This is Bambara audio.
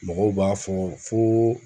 Mɔgɔw b'a fɔ foo